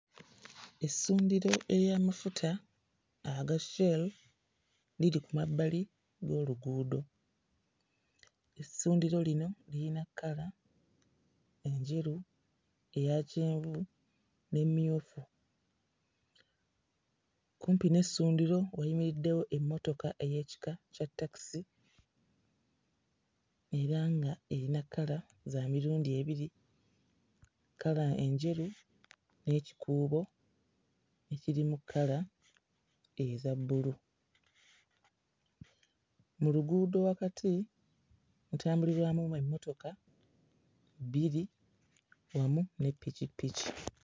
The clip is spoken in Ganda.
Essundiro ery'amafuta aga Shell liri ku mabbali g'oluguudo, essundiro lino liyina kkala, enjeru eya kyenvu n'emmyufu. Kumpi n'essundiro wayimiriddewo emmotoka ey'ekika kya takisi era ng'eyina kkala za mirundi ebiri, kkala enjeru n'ekikuubo ekirimu kkala eza bbulu; mu luguudo wakati mutambulirwamu emmotoka bbiri, emu ne ppikippiki.